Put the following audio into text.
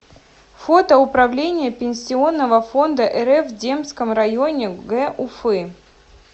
фото управление пенсионного фонда рф в демском районе г уфы